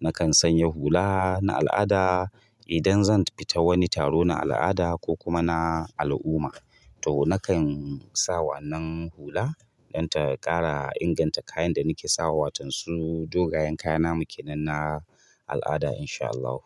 Nakan sanya hula na al'ada idan zan fita wani taro na al'ada ko kuma na al'umma. To nakan sa wannan hula dan ta ƙara inganta kayan da nike sawa, watan su dogayen kaya namu kenan na al'ada in sha Allahu.